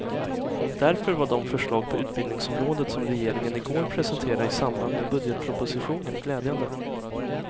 Därför var de förslag på utbildningsområdet som regeringen i går presenterade i samband med budgetpropositionen glädjande.